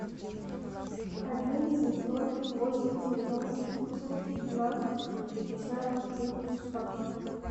один семьсот восемьдесят ноль восемьсот двенадцать шестьдесят девять шестнадцать